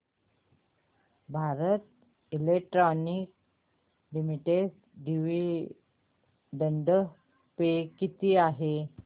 Bharat electronics limited dividend pay किती आहे